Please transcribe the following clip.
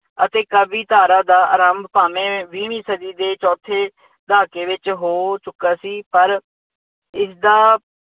ਅਤੇ ਕਾਵਿ ਧਾਰਾ ਦਾ ਆਰੰਭ ਭਾਵੇਂ ਵੀਹਵੀਂ ਸਦੀ ਦੇ ਚੌਥੇ ਦਹਾਕੇ ਵਿੱਚ ਹੋ ਚੁੱਕਾ ਸੀ ਪਰ ਇਸਦਾ